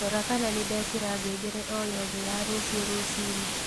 rora kana nindekira ngengere o yothe ya rũcĩũ rũcĩĩnĩ